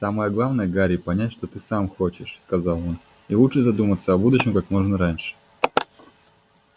самое главное гарри понять чего ты сам хочешь сказал он и лучше задуматься о будущем как можно раньше